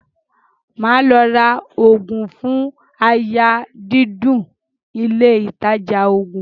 Màá lọ ra oògùn fún àyà dídùn ilé-ìtajà oògùn.